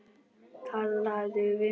Talaðu við mig!